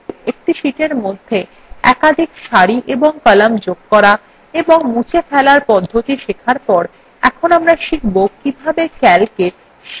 একটি sheetএর মধ্যে একাধিক সারি এবং কলাম যোগ করা এবং মুছে ফেলার পদ্ধতি শেখার পর এখন আমরা শিখব কিভাবে calcwe sheet যোগ করা এবং মুছে ফেলা যায়